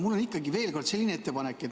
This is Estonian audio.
Mul on ikkagi veel kord selline ettepanek.